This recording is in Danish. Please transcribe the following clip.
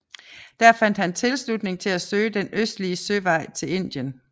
Der fandt han tilslutning til at søge den østlige søvej til Indien